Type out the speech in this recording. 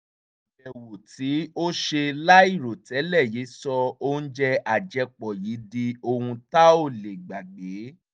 àbẹ̀wò tí o ṣe láìròtẹ́lẹ̀ yìí sọ oúnjẹ àjẹpọ̀ yìí di ohun tá ò lè gbàgbé